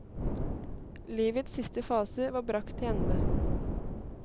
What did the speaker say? Livets siste fase var bragt til ende.